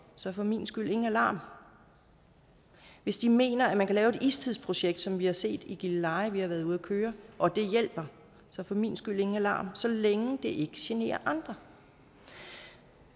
så for min skyld ingen alarm hvis de mener at man kan lave et istidsprojekt som vi har set i gilleleje vi i været ude at køre og det hjælper så for min skyld ingen alarm så længe det ikke generer andre